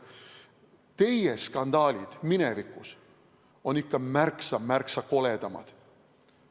Teie skandaalid minevikus olid ikka märksa-märksa koledamad.